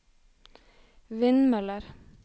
vindmøller